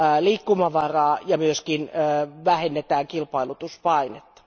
liikkumavaraa ja myös vähennetään kilpailutuspainetta.